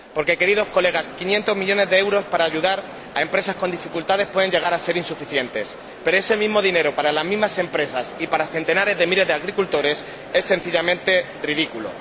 Porque, Señorías, 500 millones de euros para ayudar a empresas con dificultades pueden llegar a ser insuficientes, pero ese mismo dinero para las mismas empresas y para centenares de miles de agricultores es sencillamente ridículo.